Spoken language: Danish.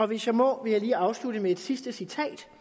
hvis jeg må vil jeg lige afslutte med et sidste citat